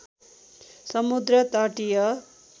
समुद्र तटीय